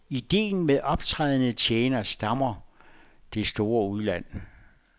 Ideen med optrædende tjenere stammer det store udland.